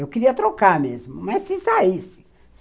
Eu queria trocar mesmo, mas se saísse.